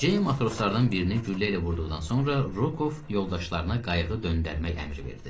Ceyn matroslardan birini güllə ilə vurduqdan sonra Rokov yoldaşlarına qayığı döndərmək əmri verdi.